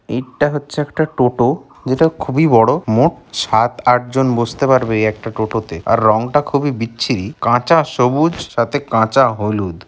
ইট্যা হচ্ছে একটা টোটো যেটা খুবই বড়ো মোট সাত আট জন বসতে পারবেএই একটা টোটোতে আর রংটা খুবই বিচ্ছিরি কাঁচা সবুজ সাথে কাঁচা হলুদ।